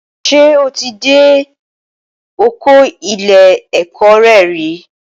Ṣé o ti dé ọkọ ilé ẹ̀kọ́ re rí